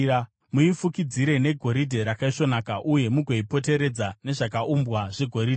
Muifukidzire negoridhe rakaisvonaka uye mugoipoteredza nezvakaumbwa zvegoridhe.